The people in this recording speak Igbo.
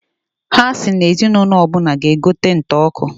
Ha si na ezi n'ụnọ ọbụna g'egote nta ọkụ.